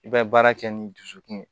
I bɛ baara kɛ ni dusukun ye